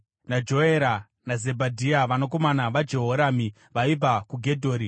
naJoera naZebhadhia vanakomana vaJehoramu vaibva kuGedhori.